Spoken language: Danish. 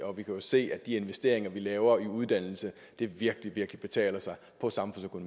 og vi kan jo se at de investeringer vi laver i uddannelse virkelig virkelig betaler sig